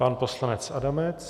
Pan poslanec Adamec.